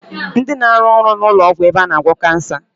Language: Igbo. Ndi na-aru ọrụ n'ụlọ ọgwụ ebe a na agwọ Kansa